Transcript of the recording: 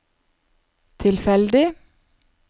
tilfeldig